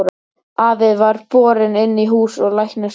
Afi var borinn inn í hús og læknir sóttur.